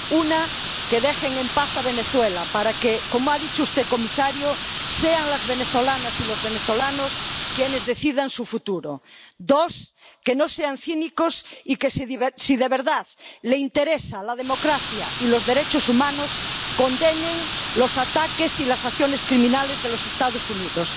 Una, que dejen en paz a Venezuela para que —como ha dicho usted, señor comisario— sean las venezolanas y los venezolanos quienes decidan su futuro. Dos, que no sean cínicos y que, si de verdad les interesan la democracia y los derechos humanos, condenen los ataques y las acciones criminales de los Estados Unidos.